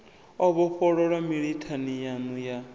o vhofholowa mililani yannu ya